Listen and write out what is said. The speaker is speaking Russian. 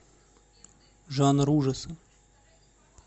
жанр ужасы